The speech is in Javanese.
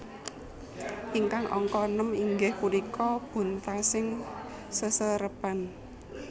Ingkang angka nem inggih punika buntasing seserepan